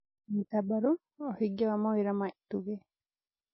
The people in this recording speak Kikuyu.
Nyita mbaru ũhingia wa mawĩra ma itugĩ